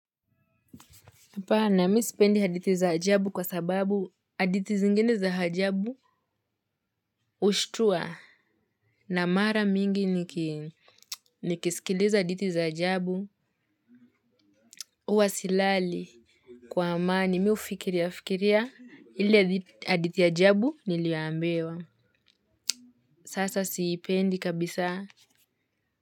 Hapana mi sipendi haditi za ajabu kwa sababu hadithi zingine za hajabu ushtua na mara mingi niki nikisikiliza haditi za ajabu huwa silali. Kwa amani mi ufikiria fikiria ile hadithi ya ajabu nilioambiwa. Sasa siipendi kabisa.